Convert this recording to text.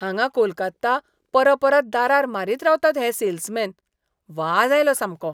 हांगा कोलकात्ता परपरत दारार मारीत रावतात हे सेल्समॅन. वाज आयलो सामको.